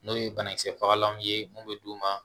N'o ye banakisɛ fagalanw ye mun bɛ d'u ma